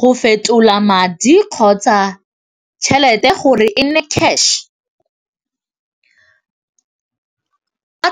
Go fetola madi kgotsa tšhelete gore e nne cash a